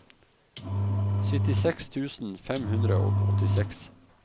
syttiseks tusen fem hundre og åttiseks